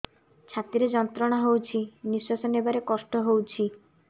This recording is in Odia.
ଛାତି ରେ ଯନ୍ତ୍ରଣା ହଉଛି ନିଶ୍ୱାସ ନେବାରେ କଷ୍ଟ ହଉଛି